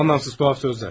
Mənasız qəribə sözlər.